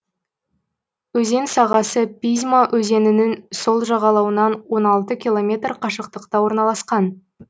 өзен сағасы пизьма өзенінің сол жағалауынан он алты километр қашықтықта орналасқан